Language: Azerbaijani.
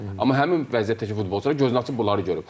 Amma həmin vəziyyətdəki futbolçular gözünü açıb bunları görüb.